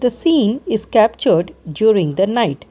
we scene is captured during the night.